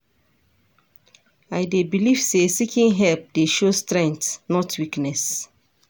I dey believe say seeking help dey show strength, not weakness.